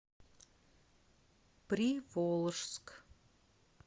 приволжск